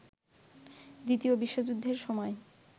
দ্বিতীয় বিশ্বযুদ্ধের সময়